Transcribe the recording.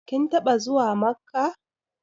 Kin taɓa zuwa Makkah?